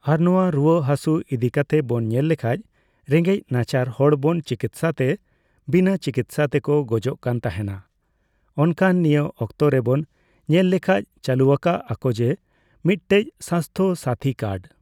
ᱟᱨ ᱱᱚᱣᱟ ᱨᱩᱣᱟᱹᱜ ᱦᱟᱥᱩᱜ ᱤᱫᱤᱠᱟᱛᱮᱜ ᱵᱚᱱ ᱧᱮᱞ ᱞᱮᱠᱷᱟᱡ, ᱨᱮᱸᱜᱮᱡ ᱱᱟᱪᱟᱨ ᱦᱚᱲ ᱵᱚᱱ ᱪᱤᱠᱤᱛᱥᱟ ᱛᱮ, ᱵᱤᱱᱟᱹ ᱪᱤᱠᱤᱛᱥᱟ ᱛᱮᱠᱚ ᱜᱚᱡᱚᱜ ᱠᱟᱱ ᱛᱟᱦᱮᱸᱱᱟ᱾ ᱚᱱᱠᱟᱱ ᱱᱤᱭᱟᱹ ᱚᱠᱛᱚ ᱨᱮᱵᱚᱱ ᱧᱮᱞ ᱞᱮᱠᱷᱟᱡ ᱪᱟᱞᱩᱣᱟᱠᱟᱜ ᱟᱠᱚ ᱡᱮ, ᱢᱤᱫᱴᱮᱡ ᱥᱟᱥᱛᱷᱚᱼᱥᱟᱛᱷᱤ ᱠᱟᱨᱰ᱾